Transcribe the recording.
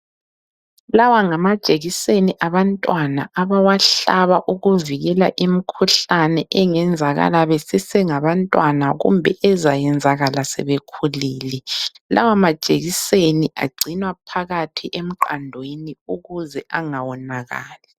Lawa ngamajekiseni abantwana abawahlaba ukuvikela imikhuhlane engenzakala besesengabantwana kumbe ezayenzakala sebekhulile. Lawa majekiseni agcinwa phakathi emqandweni ukuze engawonakali.